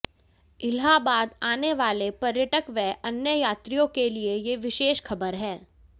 इलाहाबाद आने वाले पर्यटक व अन्य यात्रियों के लिये ये विशेष खबर है